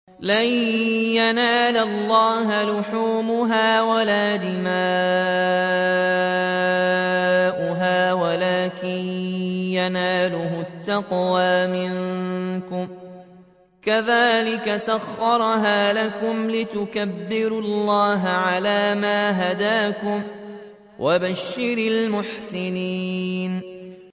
لَن يَنَالَ اللَّهَ لُحُومُهَا وَلَا دِمَاؤُهَا وَلَٰكِن يَنَالُهُ التَّقْوَىٰ مِنكُمْ ۚ كَذَٰلِكَ سَخَّرَهَا لَكُمْ لِتُكَبِّرُوا اللَّهَ عَلَىٰ مَا هَدَاكُمْ ۗ وَبَشِّرِ الْمُحْسِنِينَ